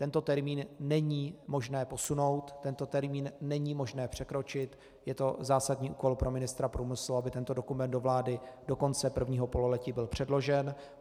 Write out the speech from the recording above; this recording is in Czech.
Tento termín není možné posunout, tento termín není možné překročit, je to zásadní úkol pro ministra průmyslu, aby tento dokument do vlády do konce prvního pololetí byl předložen.